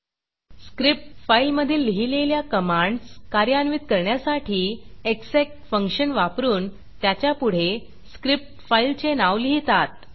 script फाईलमधील लिहिलेल्या commands कार्यान्वित करण्यासाठी एक्सेक फंक्शन वापरून त्याच्या पुढे स्क्रिप्ट फाईलचे नाव लिहितात